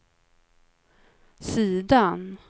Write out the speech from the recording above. sidan